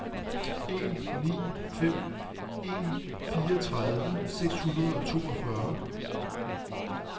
en ni fem en fireogtredive seks hundrede og toogfyrre